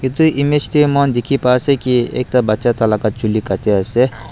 etu image te moi khan dikhi pa ase ki ekta bacha tai laga chuli kati ase.